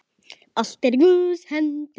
Allt er í Guðs hendi.